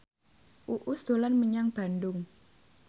Uus dolan menyang Bandung